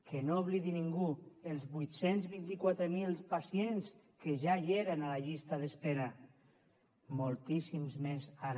que no oblidi ningú els vuit cents i vint quatre mil pacients que ja hi eren a la llista d’espera moltíssims més ara